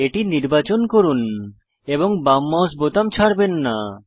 এটি নির্বাচন করুন এবং বাম মাউস বোতাম ছাড়বেন না